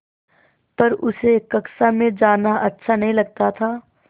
पर उसे कक्षा में जाना अच्छा नहीं लगता था